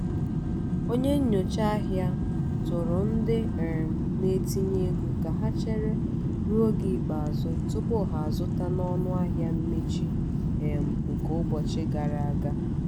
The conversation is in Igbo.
onye nyocha ahịa tụụrụ ndị um na-etinye ego ka ha chere ruo oge ikpeazụ tupu ha zụta na ọnụahịa mmechi um nke ụbọchị gara aga.